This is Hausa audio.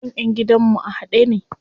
Kan ƴan gidan mu a haɗe ne.